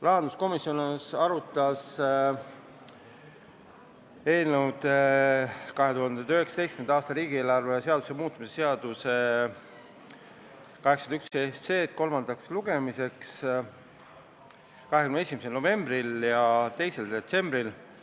Rahanduskomisjon arutas 2019. aasta riigieelarve seaduse muutmise seaduse eelnõu 81 kolmandale lugemisele saatmiseks 21. novembril ja 2. detsembril.